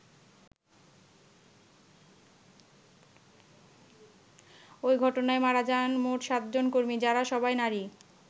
ওই ঘটনায় মারা যান মোট সাতজন কর্মী যারা সবাই নারী।